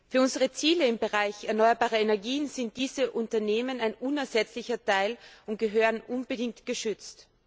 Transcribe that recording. Für unsere Ziele im Bereich erneuerbare Energien sind diese Unternehmen ein unersetzlicher Teil und gehören unbedingt geschützt.